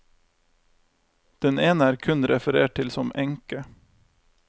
Den ene er kun referert til som enke.